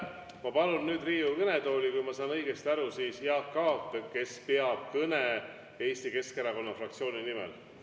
Ma palun nüüd Riigikogu kõnetooli, kui ma saan õigesti aru, Jaak Aabi, kes peab kõne Eesti Keskerakonna fraktsiooni nimel.